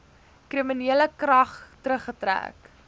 kriminele klag teruggetrek